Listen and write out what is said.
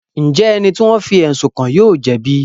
Njẹ ẹni ti wọn fí ẹsun kàn yóò jẹbi?